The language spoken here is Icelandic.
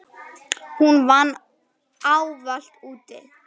Hún vann ávallt úti.